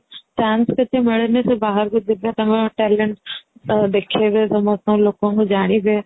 chance ଟିକେ ମିଳିଲେ ସେ ବାହାରକୁ ଯିବେ ତାଙ୍କ talent ଦେଖେଇବେ ସମସ୍ତ ଲୋକଙ୍କୁ ଜାଣିବେ